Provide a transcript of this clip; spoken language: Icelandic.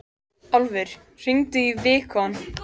Álfur, hringdu í Vigkon.